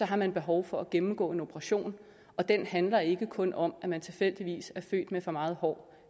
har man behov for at gennemgå en operation og den handler ikke kun om at man tilfældigvis er født med for meget hår